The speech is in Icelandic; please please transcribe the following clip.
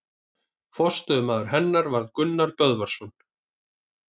Forstöðumaður hennar varð Gunnar Böðvarsson.